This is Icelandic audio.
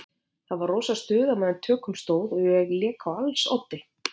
Það var rosa stuð á meðan á tökum stóð og ég lék á als oddi.